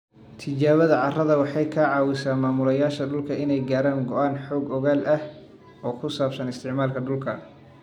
Tijaabada carrada waxay ka caawisaa maamulayaasha dhulka inay gaaraan go'aano xog ogaal ah oo ku saabsan isticmaalka dhulka.